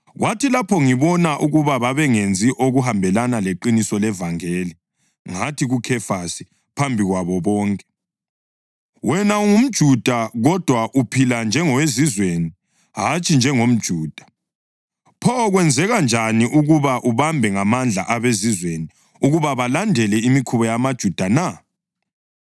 Kwathi lapho ngibona ukuba babengenzi okuhambelana leqiniso levangeli, ngathi kuKhefasi phambi kwabo bonke, “Wena ungumJuda kodwa uphila njengoweZizweni hatshi njengomJuda. Pho kwenzeka njani ukuba ubambe ngamandla abeZizweni ukuba balandele imikhuba yamaJuda na?